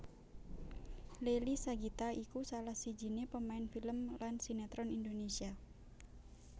Leily Sagita iku salah sijiné pemain film lan sinetron Indonesia